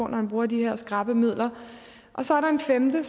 når han bruger de her skrappe midler og så er der en femte